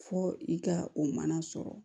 Fo i ka o mana sɔrɔ